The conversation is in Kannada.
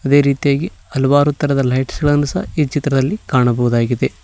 ಅದೇ ರೀತಿಯಾಗಿ ಹಲವಾರು ತರದ ಲೈಟ್ಸ್ ಗಳನ್ನ ಸಹ ಈ ಚಿತ್ರದಲ್ಲಿ ಕಾಣಬಹುದಾಗಿದೆ.